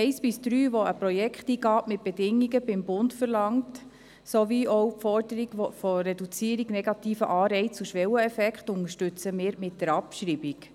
Die Punkte 1 bis 3, die eine Projekteingabe beim Bund mit Bedingungen sowie eine Reduzierung der negativen Anreize von Schwelleneffekten fordern, unterstützen wir mit der Abschreibung.